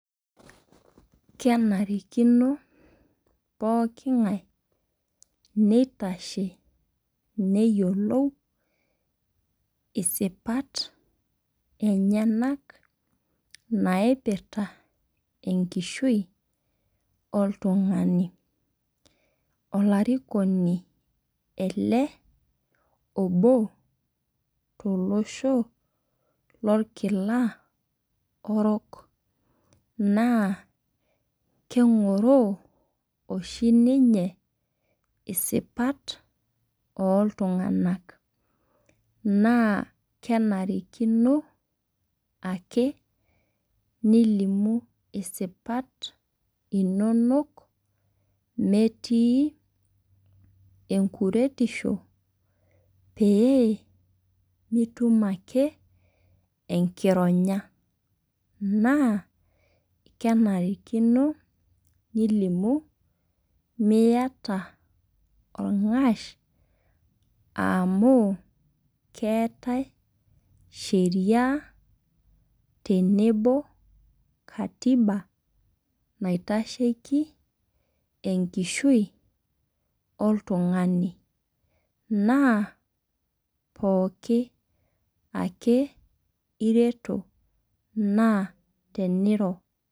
Kenarikino pookin ng'ae nitashe neyiolou isipat enyenak naipirta enkishui oltung'ani. Olarikino ele obo too losho lo nkila orok. Naa keng'oroo oshi ninye isipat oo iltung'ana naa kenarikino ake nilimu isipat inonok meeti enkuretishoo pee mitum ake enkironya. Naa kenarikino nilumu miata orng'ash amuu keetae sheria tenebo katiba naitasheki enkishui oltung'ani. Naa pookin ake ireto naa teniro.